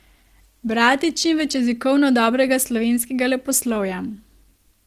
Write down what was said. Brati čimveč jezikovno dobrega slovenskega leposlovja.